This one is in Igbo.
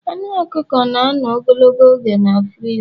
Anu ọkụkọ na-anọ ogologo oge na friza